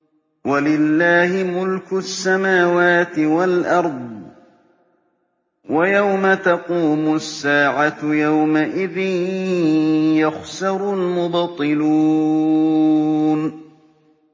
وَلِلَّهِ مُلْكُ السَّمَاوَاتِ وَالْأَرْضِ ۚ وَيَوْمَ تَقُومُ السَّاعَةُ يَوْمَئِذٍ يَخْسَرُ الْمُبْطِلُونَ